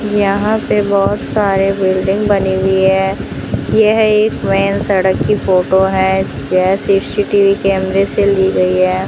यहां पे बहोत सारे बिल्डिंग बनी हुई है यह एक मेन सड़क की फोटो है ये सी_सी_टी_वी कैमरे से ली गई है।